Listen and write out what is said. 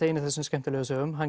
ein af þessum skemmtilegu sögum hann